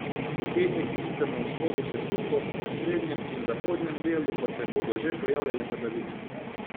V petek bo sicer na vzhodu še suho, v srednjem in zahodnem delu pa se bodo že pojavljale padavine.